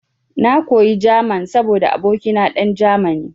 Na koyi German saboda abokina dan Germany.